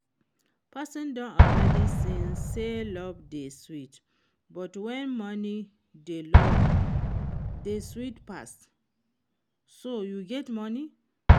Person don already sing say love dey sweet but when money dey love dey sweet pass, so you get money?